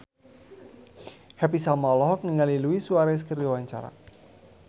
Happy Salma olohok ningali Luis Suarez keur diwawancara